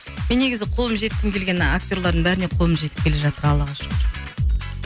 мен негізі қолым жеткім келген актерлардың бәріне қолым жетіп келе жатыр аллаға шүкір